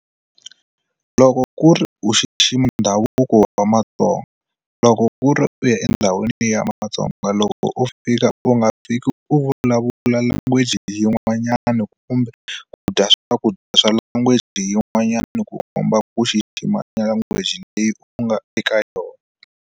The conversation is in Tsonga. Loko ku ri u xixima ndhavuko wa matsonga loko ku ri u ya endhawini leyi ya matsonga loko u fika u nga fiki u vulavula language yin'wanyani kumbe ku dya swakudya swa language yin'wanyani ku komba ku xixima language leyi u nga eka yona.